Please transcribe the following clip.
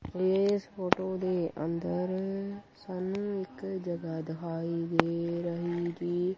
ਇਸ ਫ਼ੋਟੋ ਦੇ ਅੰਦਰ ਸਾਨੂੰ ਇੱਕ ਜਗਾਹ ਦਿਖਾਈ ਦੇ ਰਹੀ ਜੀ।